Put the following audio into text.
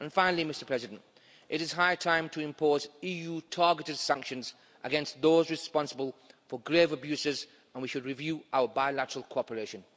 And finally, Mr President, it is high time to impose EU targeted sanctions against those responsible for grave abuses and we should review our bilateral cooperation